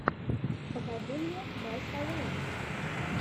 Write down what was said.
покажи мне май салун